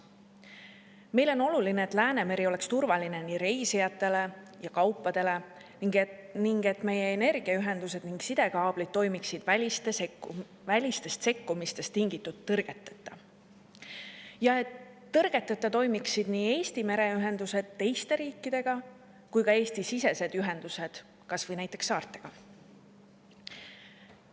Meile on oluline, et Läänemeri oleks turvaline nii reisijatele kui ka kaupadele, et meie energiaühendused ja sidekaablid toimiksid välistest sekkumistest tingitud tõrgeteta ning et tõrgeteta toimiksid Eesti mereühendused teiste riikidega, samuti Eesti-sisesed ühendused kas või näiteks saartega.